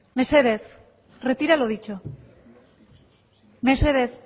mesedez retira lo dicho mesedez